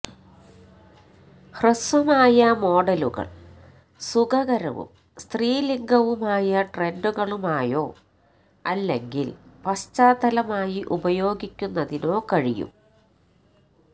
ഹ്രസ്വമായ മോഡലുകൾ സുഖകരവും സ്ത്രീലിംഗവുമായ ട്രെൻഡുകളുമായോ അല്ലെങ്കിൽ പശ്ചാത്തലമായി ഉപയോഗിക്കുന്നതിനോ കഴിയും